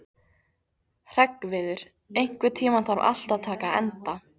Hreggviður, einhvern tímann þarf allt að taka enda.